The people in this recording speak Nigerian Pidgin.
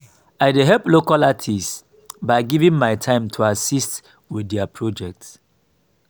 i dey help local artists by giving my time to assist with their projects.